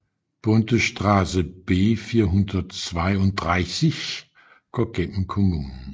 Bundesstraße B 432 går gennem kommunen